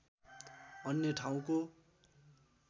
अन्य ठाउँको